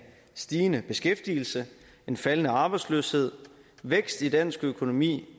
stigende beskæftigelse en faldende arbejdsløshed vækst i dansk økonomi